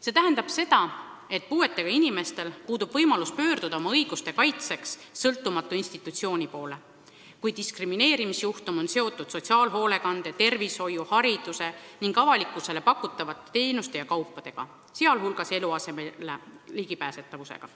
See tähendab seda, et puuetega inimestel puudub võimalus pöörduda oma õiguste kaitseks sõltumatu institutsiooni poole, kui diskrimineerimisjuhtum on seotud sotsiaalhoolekande, tervishoiu, hariduse või avalikkusele pakutavate teenuste ja kaupadega, sh eluasemele ligipääsetavusega.